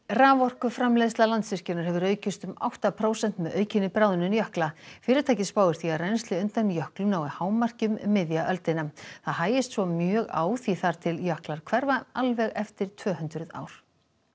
raforkuframleiðsla Landsvirkjunar hefur aukist um átta prósent með aukinni bráðnun jökla fyrirtækið spáir því að rennsli undan jöklum nái hámarki um miðja öldina það hægist svo mjög á því þar til jöklar hverfa alveg eftir tvö hundruð ár